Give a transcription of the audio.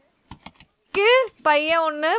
பையன் ஒண்ணு